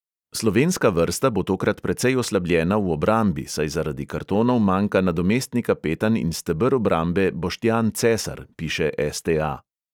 Slovenska vrsta bo tokrat precej oslabljena v obrambi, saj zaradi kartonov manjka nadomestni kapetan in steber obrambe boštjan cesar, piše es|te|a|.